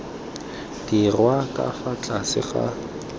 dirwa ka fa tlase ga